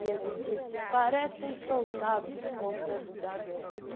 E ele disse, parecem soldados voltando da guerra.